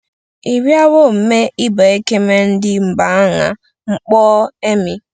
Ebiowo m̀mê iba ẹkeme ndise mban̄a n̄kpọ emi.